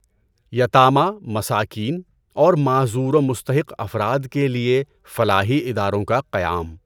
یتامیٰ، مساکین اور معذور و مستحق افراد کے لئے فلاحی اداروں کا قیام